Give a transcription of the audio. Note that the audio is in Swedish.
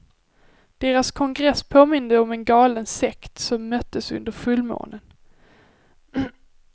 Deras kongress påminde om en galen sekt som möttes under fullmånen.